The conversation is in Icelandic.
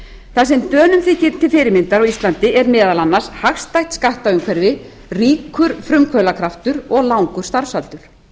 það sem dönum þykir til fyrirmyndar á íslandi er meðal annars hagstætt skattaumhverfi ríkur frumkvöðlakraftur og langur starfsaldur